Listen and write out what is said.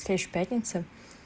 к следующей пятнице